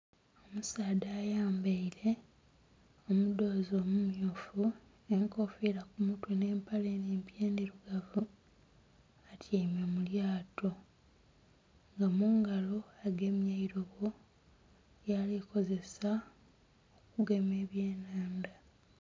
Omusaadha ayambaire omudhozi omu mmyufu, enkofira ku mutwe nhe empale enhimpi endhirugavu atyaime mu lyaato, nga mungalo agemye eirobo lyali kozesa okugema ebye nhandha.